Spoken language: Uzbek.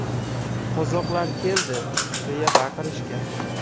Qozoqlar keldi!” deya baqirishgan.